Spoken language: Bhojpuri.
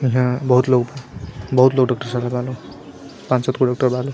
इहा बहुत लोग बा बहुत लोग डॉक्टर सा बा लोग पांच सातगो डॉक्टर बा लोग।